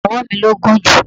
Ọwọ mi ló gùn jù.